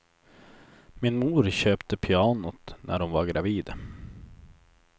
Min mor köpte pianot när hon var gravid.